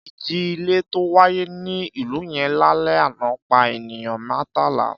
Ìjì-ilẹ̀ tó wáyé ní ìlú yẹn lálẹ́ àná pa ènìyàn mẹ́tàlá.